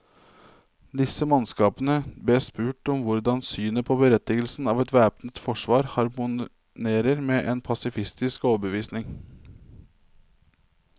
Disse mannskapene bes spurt om hvordan synet på berettigelsen av et væpnet forsvar harmonerer med en pasifistisk overbevisning.